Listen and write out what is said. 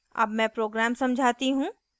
अब मैं program समझाती हूँ